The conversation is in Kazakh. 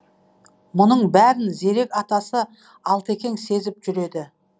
мұнің бәрін зерек атасы алтекең сезіп жүреді